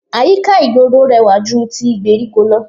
Àyíká ìgboro rẹwà ju ti gbèríko lọ